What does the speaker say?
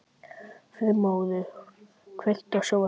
Freymóður, kveiktu á sjónvarpinu.